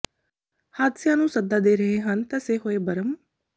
ਹਾਦਸਿਆਂ ਨੂੰ ਸੱਦਾ ਦੇ ਰਹੇ ਹਨ ਧਸੇ ਹੋਏ ਬਰਮ